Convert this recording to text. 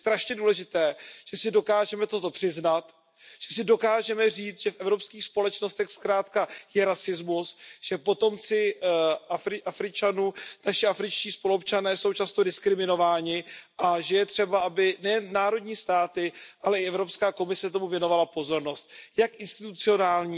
Je velmi důležité, že si toto dokážeme přiznat, že si dokážeme říci, že v evropských společnostech je rasismus, že potomci Afričanů, naši afričtí spoluobčané, jsou často diskriminováni a že je třeba, aby nejen národní státy, ale i Evropská komise tomu věnovala pozornost jak institucionální,